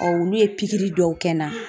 olu ye pikiri dɔw kɛ na.